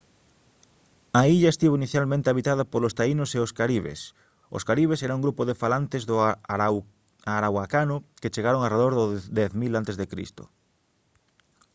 a illa estivo inicialmente habitada polos taínos e os caribes os caribes era un grupo de falantes do arahuacano que chegaron arredor do 10 000 a c